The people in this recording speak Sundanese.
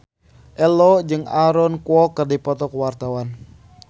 Ello jeung Aaron Kwok keur dipoto ku wartawan